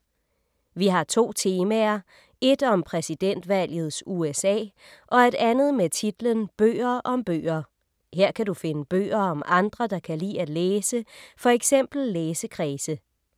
Vi har to temaer, et om præsidentvalgets USA og et andet med titlen Bøger om bøger. Her kan du finde bøger om andre, der kan lide at læse, for eksempel læsekredse.